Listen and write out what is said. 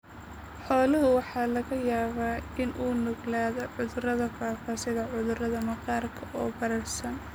Xooluhu waxa laga yaabaa inay u nuglaadaan cudurrada faafa sida cudurrada maqaarka oo bararsan.